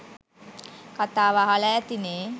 කතාව අහල ඇතිනේ